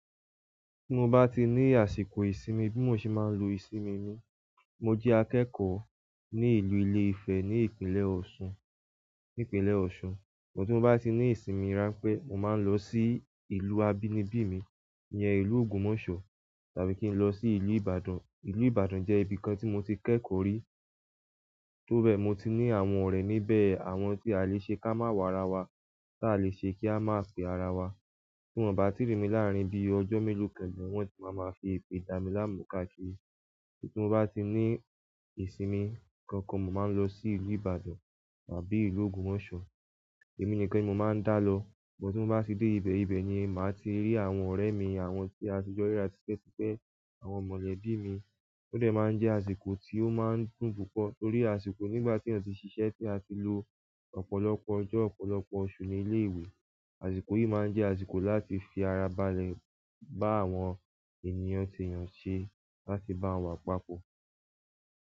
Tí mo bá ti ní àsìkò ìsinmi bí mo ṣe máa ń lo ìsinmi mi, mo jẹ́ akẹ́kọ̀ọ́ ní ìlú Ilé Ifẹ̀ ní ìpínlẹ̀ Òṣun, ní ìpínlẹ̀ Òṣun. Bọ tí mo bá ti ní ìsinmi rán pẹ mo máa ń lọ sí ìlú abínibí mi, ìyẹn ìlú Ògùnmọsọ tàbí kí n lọ sí ìlú Ìbàdàn. Ìlú Ìbàdàn jẹ́ ibi kan tí mo ti kẹ́kọ̀ọ́ rí, tó bẹ́ẹ̀ mo ti ní àwọn ọ̀rẹ́ níbẹ̀, àwọn tí a lè ṣe ká má wàrà wa, ta lè ṣe kí a má fi ara wa. Tí wọ́n bá ti rìn mí láàrín bí i ọjọ́ mélòó kan ni wọ́n ti máa máa fi èpè dà mí láàmú káàkiri. Tí mo bá ti ní ìsinmi kankan mo máa ń lọ sí ìlú Ìbàdàn àbí ìlú Ògùnmoso. Èmi nìkan ni mo máa ń dá lọ. Bọ tí mo bá ti dé ibẹ̀, ibẹ̀ ni màá ti rí àwọn ọ̀rẹ́ mi àwọn tí a ti jọ rí rá tipẹ́ ti pẹ́, àwọn mọ̀lẹ́bí mi. Ó dẹ máa ń jẹ́ àsìkò tí ó máa ń dùn púpọ̀ torí àsìkò nígbà tí yan ti ṣiṣẹ́ tí a ti lò ọ̀pọ̀lọpọ̀ ọjọ́, ọ̀pọ̀lọpọ̀ oṣù ní ilé ìwé. Àsìkò yìí máa ń jẹ́ àsìkò láti fi ara balẹ̀, bá àwọn ènìyàn tí yàn ṣe láti bá wà papọ̀.